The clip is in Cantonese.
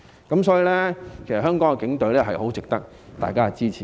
因此，香港警隊很值得大家支持。